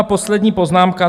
A poslední poznámka.